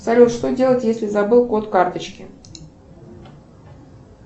салют что делать если забыл код карточки